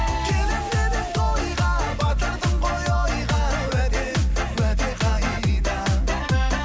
келемін деп едің тойға батырдың ғой ойға уәде уәде қайда